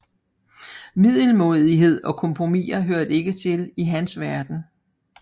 Middelmådighed og kompromisser hørte ikke til i hans verden